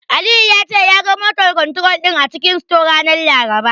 Aliyu ya ce, ya ga "motor control" din a cikin store, ranar Laraba.